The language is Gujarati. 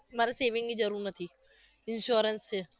મારે saving ની જરૂર નથી insurance છે